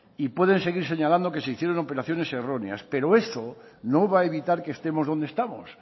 y pueden seguir señalando que se hicieron operaciones erróneas pero eso no va a evitar que estemos donde estamos